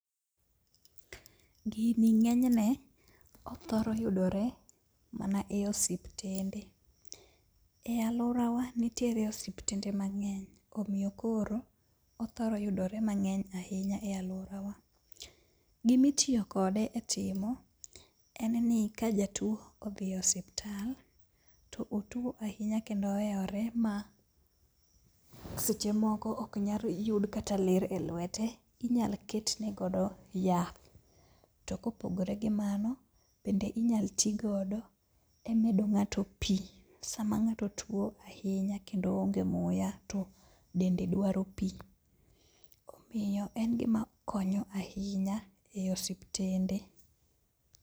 Gini ng'enyne othoro yudore mana e osiptende. E alworawa nitiere osiptende mang'eny, omiyo koro othoro yudore mang'eny ahinya e alworawa. Gimitiyo kode e timo, en ni ka jatuo odhi e osiptal to otuo ahinya kendo ohewre ma seche moko ok nyal yud kata ler e lwete, inyal ketne godo yath to kopogore gi mano bende inyal tigodo e medo ng'ato pii sama ma ng'ato tuo ahinya kendo oonge muya to dende dwaro pi. Omiyo en gima konyo ahinya e osiptende.